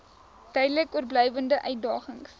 duidelik oorblywende uitdagings